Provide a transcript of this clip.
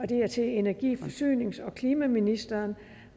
det er til energi forsynings og klimaministeren